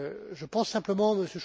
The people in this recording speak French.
Je pense simplement,